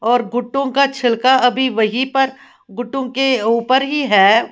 और गुटों का छिलका अभी वहीं पर गुटों के ऊपर ही है।